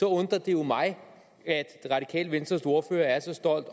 undrer det jo mig at det radikale venstres ordfører er så stolt